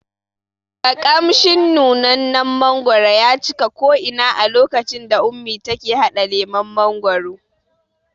Ƙamshin nunannen mangwaro ya cika ko ina a lokacin da ummi take haɗa lemon mangwaro